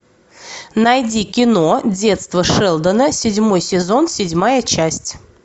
найди кино детство шелдона седьмой сезон седьмая часть